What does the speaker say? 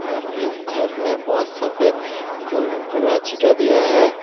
और इस घर में बहोत सफेद गोरा छीटा दिया है।